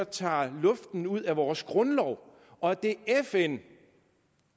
tager luften ud af vores grundlov og at det er fn